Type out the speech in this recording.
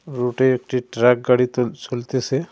রূটে একটি ট্রাক গাড়িতে চলতেসে।